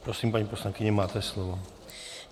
Prosím, paní poslankyně, máte slovo.